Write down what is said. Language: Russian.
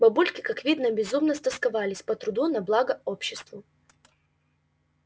бабульки как видно безумно стосковались по труду на благо обществу